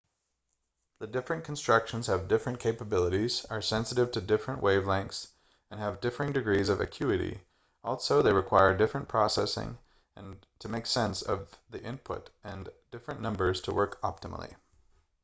the different constructions have different capabilities are sensitive to different wave-lengths and have differing degrees of acuity also they require different processing to make sense of the input and different numbers to work optimally